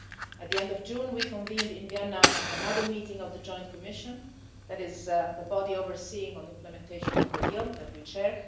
At the end of June, we convened in Vienna another meeting of the Joint Commission, that is the body overseeing implementation of the deal that we chair.